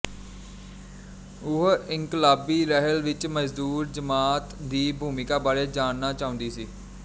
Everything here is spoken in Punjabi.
ਉਹ ਇਨਕਲਾਬੀ ਲਹਿਰ ਵਿੱਚ ਮਜ਼ਦੂਰ ਜਮਾਤ ਦੀ ਭੂਮਿਕਾ ਬਾਰੇ ਜਾਣਨਾ ਚਾਹੁੰਦੀ ਸੀ